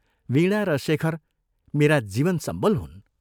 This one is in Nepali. वीणा र शेखर मेरा जीवनसम्बल हुन्।